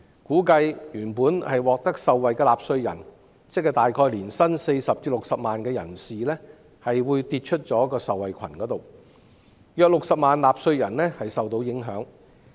估計一些原本受惠的納稅人，即年薪40萬元至60萬元的人士會跌出受惠群，約有60萬納稅人受到影響。